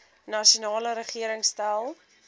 nasionale regering stel